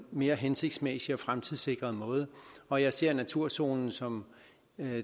mere hensigtsmæssig og fremtidssikret måde og jeg ser naturzonen som